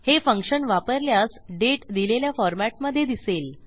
हे फंक्शन वापरल्यास दाते दिलेल्या फॉरमॅटमधे दिसेल